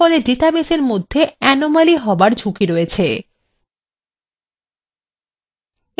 এরফলে ডাটাবেসের মধ্যে anomaly হবার ঝুঁকি রয়েস